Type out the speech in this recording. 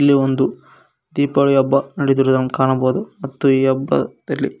ಇಲ್ಲಿ ಒಂದು ದೀಪಾವಳಿ ಹಬ್ಬ ನೆಡೆದಿರುವುದನ್ನು ಕಾಣಬಹುದು ಮತ್ತು ಈ ಹಬ್ಬದಲ್ಲಿ--